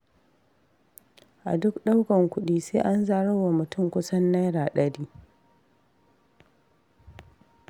A duk ɗaukar kuɗi, sai an zarar wa mutum kusan naira ɗari.